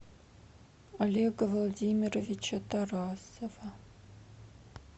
олега владимировича тарасова